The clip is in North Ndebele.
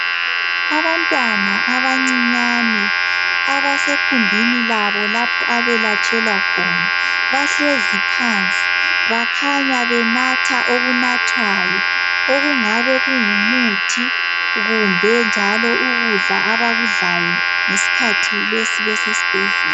Abantwana abancinyane abasekhumbini labo lapho abelatshelwa khona. Bahlezi phansi. Bakhanya benatha okunathwayo okungabe kungumuthi, kumbe njalo ukudla abakudlayo ngeskhathi lesi besesbhedlela.